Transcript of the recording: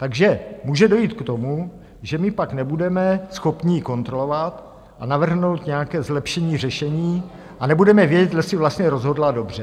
Takže může dojít k tomu, že my pak nebudeme schopni ji kontrolovat a navrhnout nějaké zlepšení řešení a nebudeme vědět, jestli vlastně rozhodla dobře.